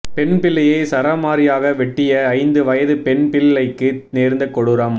பெண் பிள்ளையை சரமாரியாக வெட்டிய ஐந்து வயது பெண்பிள்ளைக்கு நேர்ந்த கொடூரம்